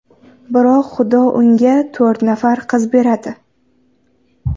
Biroq Xudo unga to‘rt nafar qiz beradi.